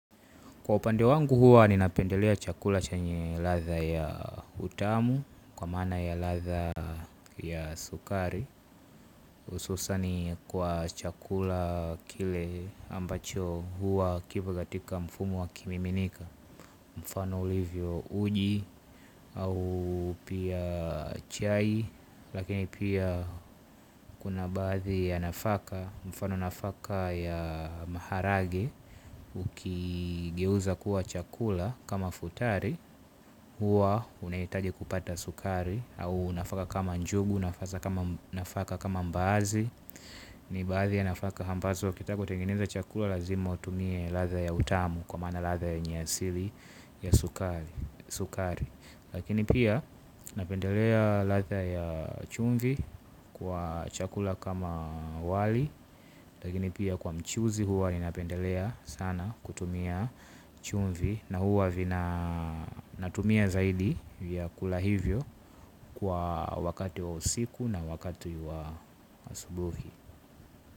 Kwa upande wangu huwa ninapendelea chakula chenye ladha ya utamu, kwa maana ya latha ya sukari hususan kwa chakula kile ambacho huwa kipo katika mfumo wa kimiminika. Mfano ulivyo uji, au pia chai lakini pia kuna baadhi ya nafaka. Mfano nafaka ya maharage, ukigeuza kuwa chakula kama futari. Huwa unahitaje kupata sukari. Au nafaka kama njugu nafaka kama mbaazi. Ni baadhi ya nafaka ampazo ukitaka utengeneze chakula lazima utumie ladha ya utamu. Kwa maana ladha yenye asili ya sukari. Lakini pia napendelea latha ya chumvi. Kwa chakula kama wali lakini pia kwa mchuzi huwa ni napendelea sana kutumia chumvi. Na huwa vina natumia zaidi vyakula hivyo kwa wakati wa usiku na wakati wa asubuhi.